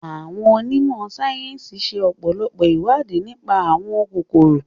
Àwon onímọ̀ sáyẹ́nsì ṣe ọpọlọpọ ìwádìí nipa àwọn kòkòrò